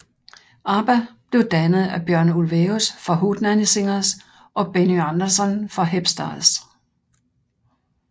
ABBA blev dannet af Björn Ulvaeus fra Hootenanny Singers og Benny Andersson fra Hep Stars